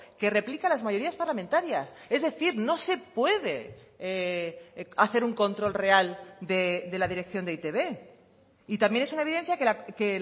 que replica las mayorías parlamentarias es decir no se puede hacer un control real de la dirección de e i te be y también es una evidencia que